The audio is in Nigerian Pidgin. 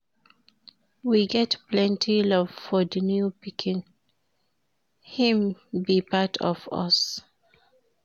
We get plenty love for di new pikin, im be part of us.